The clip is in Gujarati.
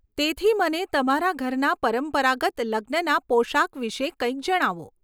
તેથી, મને તમારા ઘરના પરંપરાગત લગ્નના પોશાક વિશે કંઈક જણાવો.